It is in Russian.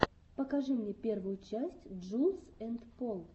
покажи мне первую часть джулз энд пол